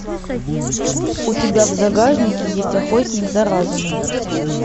у тебя в загашнике есть охотник за разумом